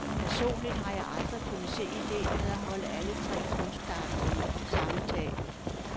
Personligt har jeg aldrig kunnet se idéen med at holde alle tre kunstarter under samme tag.